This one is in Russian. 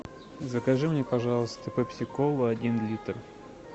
закажи мне пожалуйста пепси колу один литр